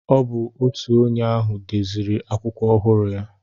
Ọ bụ otu onye ahụ deziri akwụkwọ ọhụrụ ya.